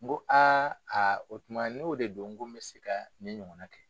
N ko aa aa o tuma n'o de don ko n bɛ se ka nin ɲɔgɔn kɛ.